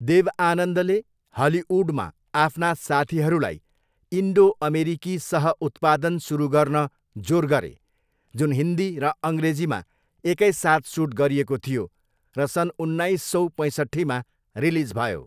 देव आनन्दले हलिउडमा आफ्ना साथीहरूलाई इन्डो अमेरिकी सह उत्पादन सुरु गर्न जोर गरे जुन हिन्दी र अङ्ग्रेजीमा एकैसाथ सुट गरिएको थियो र सन् उन्नाइससौ पैसट्ठीमा रिलिज भयो।